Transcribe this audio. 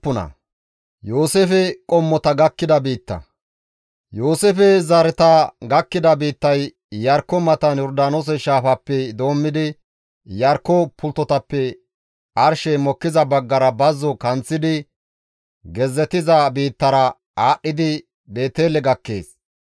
Yooseefe zareta gakkida biittay Iyarkko matan Yordaanoose shaafappe doommidi Iyarkko pulttotappe arshey mokkiza baggara bazzo kanththidi gezzetiza biittara aadhdhidi Beetele gakkees.